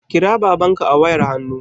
Kira babanka a wayar hannu